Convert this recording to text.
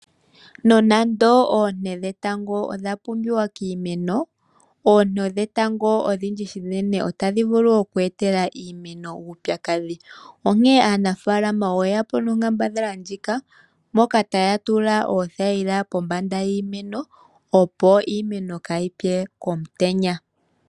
Nonando oonte dhetango odha pumbiwa kiimeno, oonte dhetango odhindji shinene otadhi vulu oku etela iimeno uupyakadhi. Onkee aanafaalama oye ya po nonkambadhala ndjika moka taya tula oothayila pombanda yiimeno opo iimeno kaa yi pye komutenya.